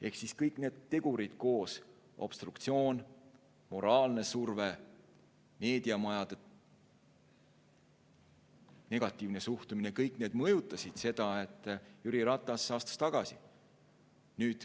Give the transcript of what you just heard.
Ehk kõik need tegurid koos – obstruktsioon, moraalne surve, meediamajade negatiivne suhtumine – mõjutasid seda, miks Jüri Ratas astus tagasi.